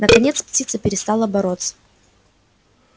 наконец птица перестала бороться